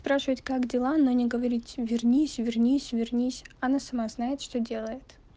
спрашивать как дела но не говорить вернись вернись вернись она сама знает что делает